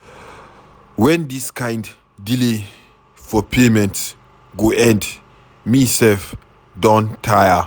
Wen dis kin delay for payment go end. Me sef Don tire.